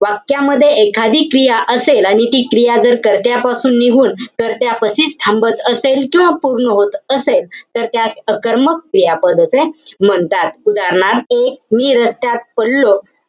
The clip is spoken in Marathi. वाक्यामध्ये एखादी क्रिया असेल. आणि ती क्रिया जर कर्त्यापासून निघून कर्त्यापाशीच थांबत असेल, किंवा पूर्ण होत असेल, तर त्यास अकर्मक क्रियापद असे म्हणतात. उदाहरणार्थ, मी रस्त्यात पडलो.